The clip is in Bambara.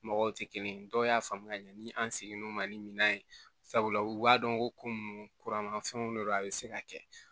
Mɔgɔw tɛ kelen ye dɔw y'a faamuya ni an seginn'o ma ni minan ye sabula u b'a dɔn ko ko munnu kura ma fɛnw de do a bɛ se ka kɛ